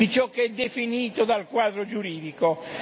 di ciò che è definito dal quadro giuridico.